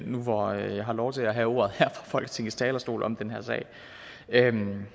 nu hvor jeg har lov til at have ordet her fra folketingets talerstol om den her sag